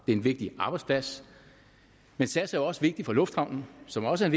er en vigtig arbejdsplads men sas er også vigtig for lufthavnen som jo også er